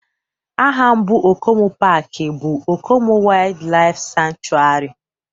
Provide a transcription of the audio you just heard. Aha mbụ Okomu paaki bụ Okomu Waydlaif Sanchuari